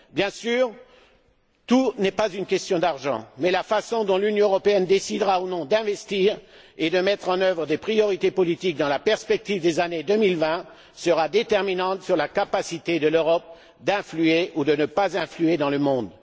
Bien sûr, tout n'est pas une question d'argent mais la façon dont l'Union européenne décidera ou non d'investir et de mettre en œuvre des priorités politiques dans la perspective des années 2020 sera déterminante sur la capacité de l'Europe d'influer ou de ne pas influer dans le monde.